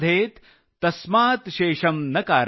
तस्मात् शेषम् न कारयेत ।।